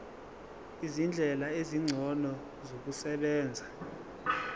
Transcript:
izindlela ezingcono zokusebenza